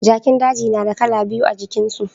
Jakin daji na da kala biyu a jikin su